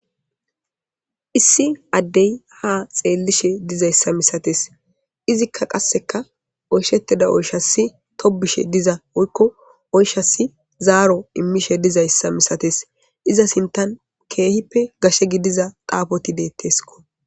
Issi addey ha xeellishe dizayssa misates izikka qasseka oyshettida oyshasi tobbishe diza woykko oyshasi zaaro immishe dizayssa misates iza sinttan keehippe gashe gidiza xaafoti deetteskko